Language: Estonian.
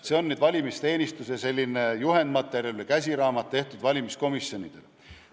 " See on selline valimisteenistuse juhendmaterjal või käsiraamat, mis on tehtud valimiskomisjonidele.